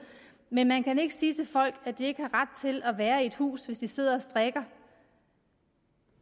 men man kan ikke sige til folk at de ikke har ret til at være i et hus hvis de sidder og strikker